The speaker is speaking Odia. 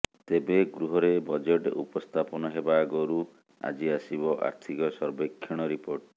ତେବେ ଗୃହରେ ବଜେଟ ଉପସ୍ଥାପନ ହେବା ଆଗରୁ ଆଜି ଆସିବ ଆର୍ଥିକ ସର୍ବେକ୍ଷଣ ରିପୋର୍ଟ